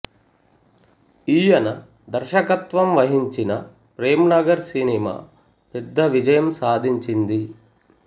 ఈయన దర్శకత్వం వహించిన ప్రేమనగర్ సినిమా పెద్ద విజయం సాధించింది